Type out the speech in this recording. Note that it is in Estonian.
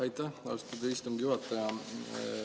Aitäh, austatud istungi juhataja!